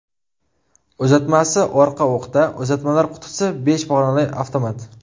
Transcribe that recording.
Uzatmasi orqa o‘qda, uzatmalar qutisi besh pog‘onali avtomat.